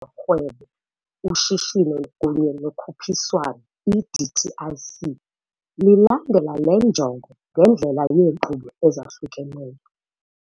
zoRhwebo, uShishino kunye noKhuphiswano, i-DTIC, lilandela le njongo ngendlela yeenkqubo ezahlukeneyo.